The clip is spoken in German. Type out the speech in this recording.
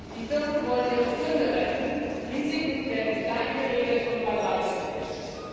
Die Firmen wollen ihre Pfründe retten, Risiken werden kleingeredet und beiseitegewischt.